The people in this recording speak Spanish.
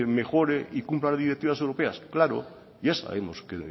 mejore y cumpla las directivas europeas claro ya sabemos que